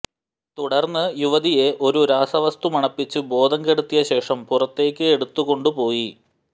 തുടർന്ന് യുവതിയെ ഒരു രാസവസ്തു മണപ്പിച്ച് ബോധംകെടുത്തിയ ശേഷം പുറത്തേക്ക് എടുത്തുകൊണ്ടു പോയി